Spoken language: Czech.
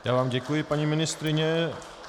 Já vám děkuji, paní ministryně.